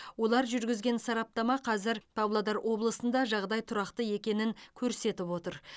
олар жүргізген сараптама қазір павлодар облысында жағдай тұрақты екенін көрсетіп отыр